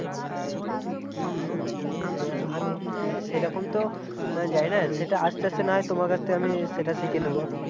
হম আমি সেরকম তো জানিনা সেটা আস্তে আস্তে না হয় তোমার কাছ থেকে আমি সেটা শিখে নেব